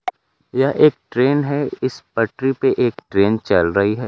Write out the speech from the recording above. यह एक ट्रेन है इस पटरी पे एक ट्रेन चल रही है।